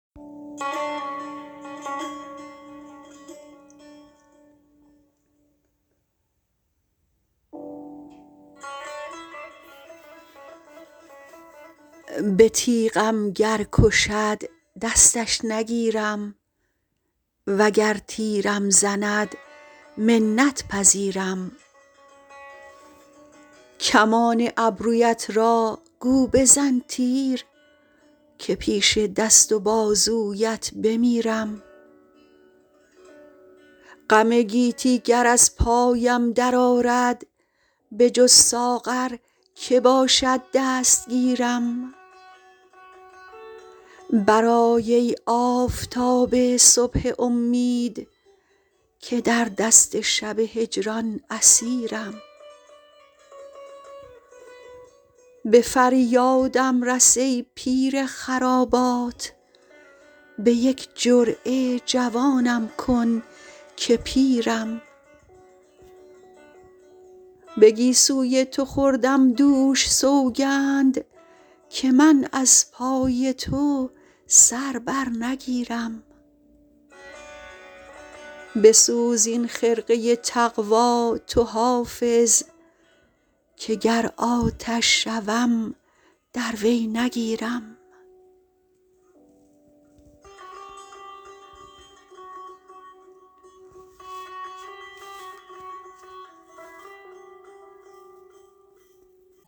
به تیغم گر کشد دستش نگیرم وگر تیرم زند منت پذیرم کمان ابرویت را گو بزن تیر که پیش دست و بازویت بمیرم غم گیتی گر از پایم درآرد بجز ساغر که باشد دستگیرم برآی ای آفتاب صبح امید که در دست شب هجران اسیرم به فریادم رس ای پیر خرابات به یک جرعه جوانم کن که پیرم به گیسوی تو خوردم دوش سوگند که من از پای تو سر بر نگیرم بسوز این خرقه تقوا تو حافظ که گر آتش شوم در وی نگیرم